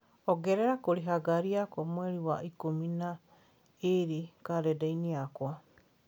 ongerera kũrĩha ngaari yakwa mweri wa ikũmi na ĩĩrĩ karenda-inĩ yakwa